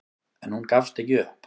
En hún gafst ekki upp.